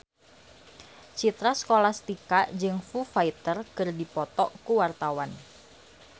Citra Scholastika jeung Foo Fighter keur dipoto ku wartawan